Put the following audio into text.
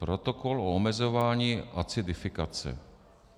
Protokol o omezování acidifikace.